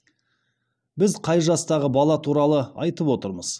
біз қай жастағы бала туралы айтып отырмыз